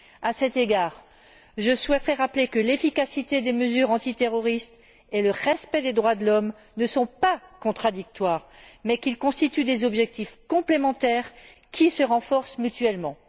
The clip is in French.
À cet égard, je souhaiterais rappeler que l'efficacité des mesures antiterroristes et le respect des droits de l'homme ne sont pas contradictoires, mais qu'ils constituent des objectifs complémentaires qui se renforcent mutuellement.